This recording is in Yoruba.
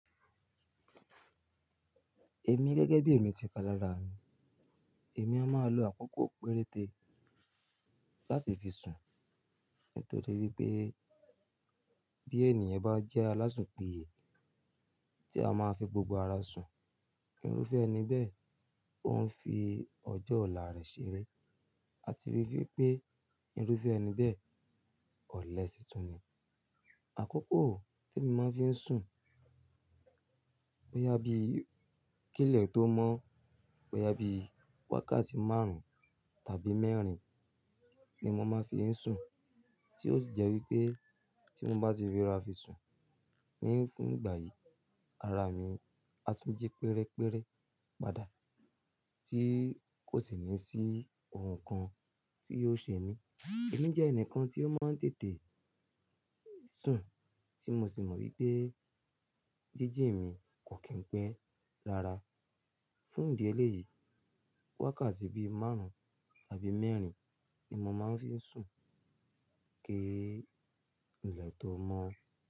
Èmi gẹ́gẹ́ bí èmi ti ka lára mi, èmi a máa lo àkókò péréte láti fi sùn nítorí pé bí ènìyàn bá jẹ́ alásùn piye tí a máa fi gbogbo ara sùn, irúfẹ́ ẹni bẹ́ẹ̀ òún fi ọjọ́ ọ̀la rẹ̀ ṣeré. A ti wipé irúfẹ́ ẹni bẹ́ẹ̀ ọlẹ si tun ni. Àkókò tí èmi máa fi ń sùn boya bíi kílẹ̀ tó mọ́, boya bíi wákàtí márùn-ún tàbí mẹ́rin ni mo máa fi ń sùn, tí ó sì jẹ́ wípé tí mo bá ti rora fi sùn ní fún ìgbà yìí, ara mi á tún jí pérére padà tí kò sì ní sí ohun kan tí yóò ṣe mí. Èmi jẹ́ ẹnìkan tí ó máa ń tètè sùn tí mo sì mọ̀ wípé jíji mi kò kín pẹ́ rára. Fún ìdí eléyìí wákàtí bíi márùn-ún tàbí mẹ́rin ni mo máa ń fi ń sùn kí í ìlẹ̀ tó mọ́.